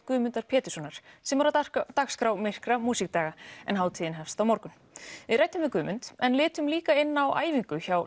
Guðmundar Péturssonar sem er á dagskrá myrkra músíkdaga en hátíðin hefst á morgun við ræddum við Guðmund en litum líka inn á æfingu hjá